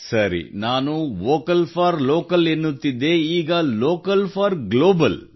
ಸರಿ ನಾನು vocal for local ಎನ್ನುತ್ತಿದ್ದೆ ಈಗ ಲೋಕಲ್ ಫಾರ್ ಗ್ಲೋಬಲ್